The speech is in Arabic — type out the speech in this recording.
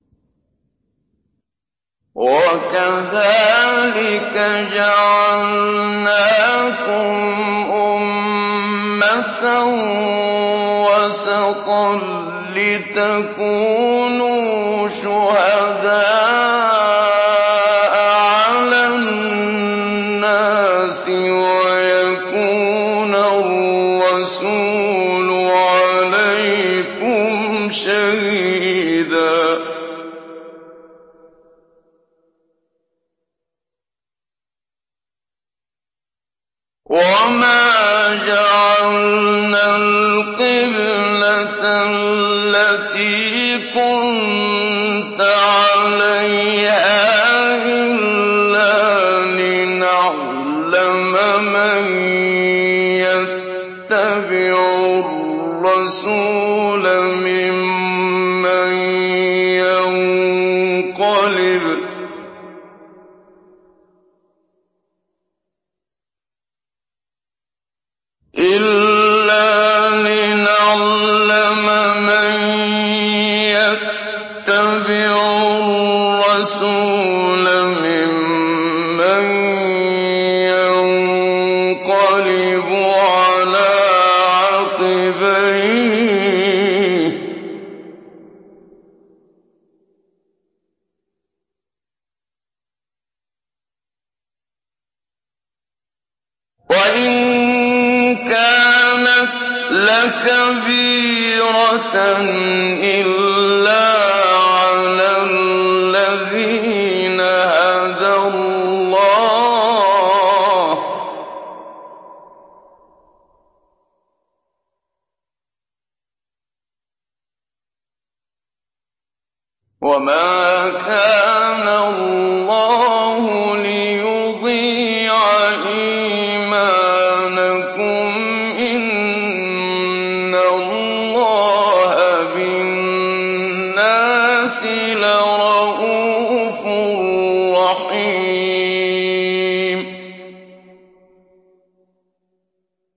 وَكَذَٰلِكَ جَعَلْنَاكُمْ أُمَّةً وَسَطًا لِّتَكُونُوا شُهَدَاءَ عَلَى النَّاسِ وَيَكُونَ الرَّسُولُ عَلَيْكُمْ شَهِيدًا ۗ وَمَا جَعَلْنَا الْقِبْلَةَ الَّتِي كُنتَ عَلَيْهَا إِلَّا لِنَعْلَمَ مَن يَتَّبِعُ الرَّسُولَ مِمَّن يَنقَلِبُ عَلَىٰ عَقِبَيْهِ ۚ وَإِن كَانَتْ لَكَبِيرَةً إِلَّا عَلَى الَّذِينَ هَدَى اللَّهُ ۗ وَمَا كَانَ اللَّهُ لِيُضِيعَ إِيمَانَكُمْ ۚ إِنَّ اللَّهَ بِالنَّاسِ لَرَءُوفٌ رَّحِيمٌ